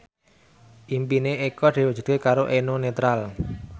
impine Eko diwujudke karo Eno Netral